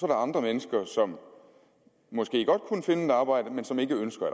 der andre mennesker som måske godt kunne finde et arbejde men som ikke ønsker